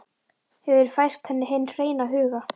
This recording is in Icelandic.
Hefur fært henni hinn hreina huga.